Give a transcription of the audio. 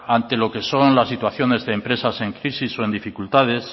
ante lo que son las situaciones de empresas en crisis o en dificultades